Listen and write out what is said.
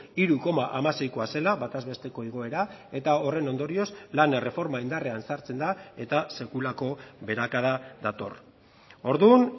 hiru koma hamaseikoa zela bataz besteko igoera eta horren ondorioz lan erreforma indarrean sartzen da eta sekulako beherakada dator orduan